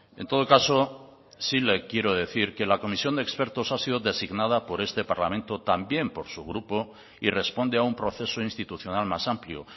en todo caso sí le quiero decir que la comisión de expertos ha sido designada por este parlamento también por su grupo y responde a un proceso institucional más amplio